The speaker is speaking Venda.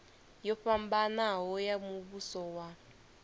yo fhambanaho ya muvhuso wa